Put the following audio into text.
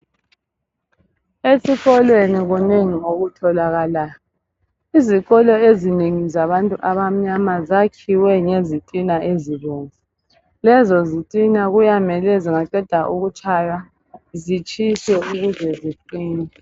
Esikolweni kunengi okutholakalayo izikolo ezinengi zabantu abamnyama zakhiwe ngezitina ezibomvu lezo zitina kuyamele zingaqeda ukutshaywa zitshiswe ukuze ziqine.